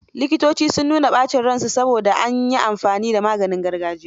Likitocin, sun nuna ɓacin ransu saboda an yi amfani da maganin gargajiya.